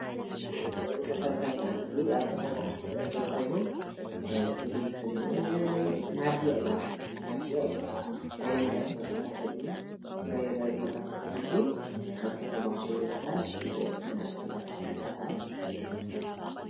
እዚ መሰረተ ልማዓት እዚ ኣብ ከተማ ኣክሱም ዝርከብ ኮይኑ ፍሉይ ሽሙ ማድያ እዩ፡፡ ማድያ ወይካኣ ናይ ነዳዲ መከፋፈሊ እዩ፡፡ እዚ ናይ ነዳዲ መከፋፈሊ እዙይ ኣብ ከተማ ኣክሱም ይበሃል፡፡ ቲአፈ ማድያ ይባሃል፡፡